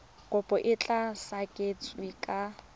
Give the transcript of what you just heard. kopo e tla sekasekiwa ka